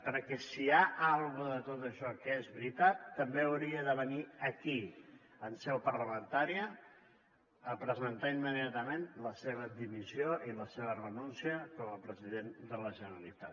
perquè si hi ha alguna cosa de tot això que és veritat també hauria de venir aquí en seu parlamentària a presentar immediatament la seva dimissió i la seva renúncia com a president de la generalitat